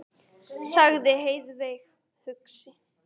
sagði Heiðveig hugsi.